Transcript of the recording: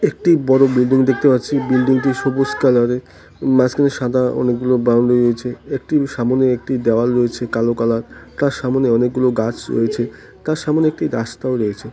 একটি বড় বিল্ডিং দেখতে পাচ্ছি বিল্ডিংটি সবুজ কালারের মাঝখানে সাদা অনেকগুলি বাউন্ডারি রয়েছে একটি সামনে একটি দেওয়াল রয়েছে কালো কালার তার সামনে অনেকগুলো গাছ রয়েছে তার সামনে একটি রাস্তা ও রয়েছে।